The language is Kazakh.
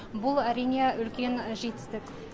бұл әрине үлкен жетістік